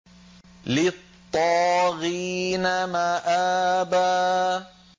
لِّلطَّاغِينَ مَآبًا